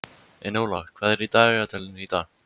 Enóla, hvað er í dagatalinu í dag?